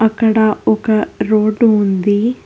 ఇక్కడ ఒక రోడ్డు ఉంది.